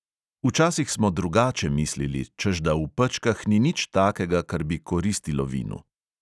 Včasih smo drugače mislili, češ da v pečkah ni nič takega, kar bi koristilo vinu.